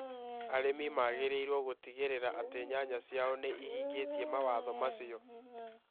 Arĩmi magĩrĩirũo gũtigĩrĩra atĩ nyanya ciao nĩ ihingĩtie mawatho macio.